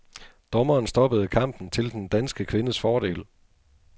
Dommeren stoppede kampen til den danske kvindes fordel.